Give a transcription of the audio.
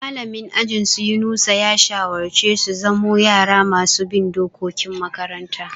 Mallamin ajin su Yunusa ya shawarce su zamo yara masu bin dokokin makaranta.